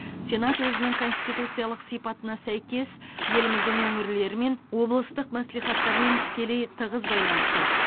сенат өзінің конституциялық сипатына сәйкес еліміздің өңірлерімен облыстық мәслихаттармен тікелей тығыз байланыста